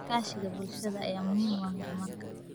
Iskaashiga bulshada ayaa muhiim u ah horumarka.